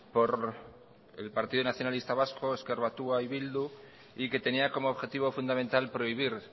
por el partido nacionalista vasco ezker batua y bildu y que tenía como objetivo fundamental prohibir